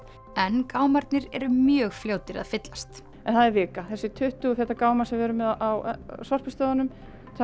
en gámarnir eru mjög fljótir að fyllast það er vika þessir tuttugu feta gámar sem við erum með á Sorpustöðvunum þetta